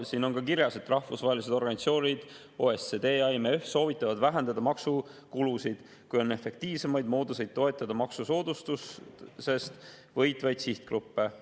Siin on ka kirjas, et rahvusvahelised organisatsioonid OECD ja IMF soovitavad vähendada maksukulusid, kui on efektiivsemaid mooduseid toetada maksusoodustusest võitvaid sihtgruppe.